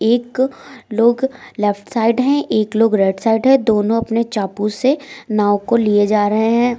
एक लोग left side है एक लोग राइट साइड है दोनों अपने चापू से नाव को लिए जा रहे हैं।